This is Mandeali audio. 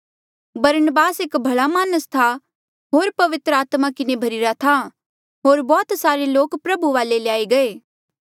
बरनबास एक भला मानस था होर पवित्र आत्मा किन्हें भर्ही रा था होर बौह्त सारे लोक प्रभु वाले ल्याई गये